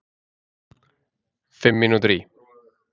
Fimm mínútur í